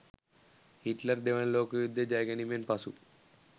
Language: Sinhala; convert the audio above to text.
හිට්ලර් දෙවන ලෝක යුද්ධය ජය ගැනීමෙන් පසු